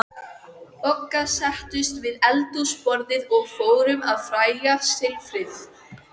Bogga settust við eldhúsborðið og fóru að fægja silfrið.